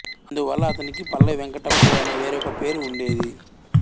అందువల్ల అతనికి పల్లవి వెంకటప్పయ్య అనే వేరొక పేరు ఉండేది